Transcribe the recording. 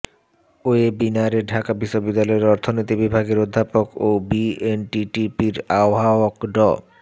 ওয়েবিনারে ঢাকা বিশ্ববিদ্যালয়ের অর্থনীতি বিভাগের অধ্যাপক ও বিএনটিটিপির আহ্বায়ক ড